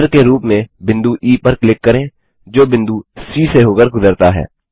केंद्र के रूप में बिंदु ई पर क्लिक करें जो बिंदु सी से होकर गुजरता है